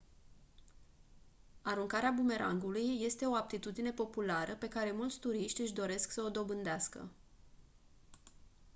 aruncarea bumerangului este o aptitudine populară pe care mulți turiști își doresc să o dobândească